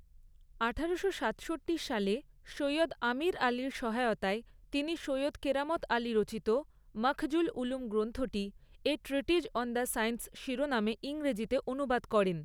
আঠারোশো সাতষট্টি সালে সৈয়দ আমির আলির সহায়তায় তিনি সৈয়দ কেরামত আলি রচিত 'মখজুল উলুম' গ্রন্থটি 'a treatise on the science' শিরোনামে ইংরেজিতে অনুবাদ করেন।